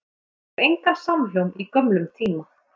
Og hún finnur engan samhljóm í gömlum tíma.